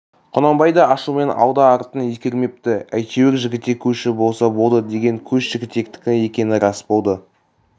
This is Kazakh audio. құнанбай да ашумен алды-артын ескермепті әйтеуір жігітек көші болса болды деген көш жігітектікі екені рас болды